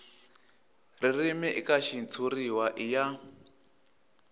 ririmi eka xitshuriwa i ya